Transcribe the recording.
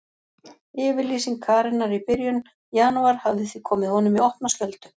Yfirlýsing Karenar í byrjun janúar hafði því komið honum í opna skjöldu.